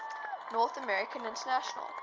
north american international